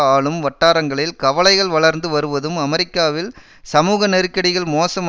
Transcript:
ஆளும் வட்டாரங்களில் கவலைகள் வளர்ந்து வருவதும் அமெரிக்காவில் சமூகநெருக்கடிகள் மோசம்